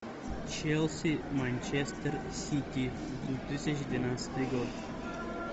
челси манчестер сити две тысячи двенадцатый год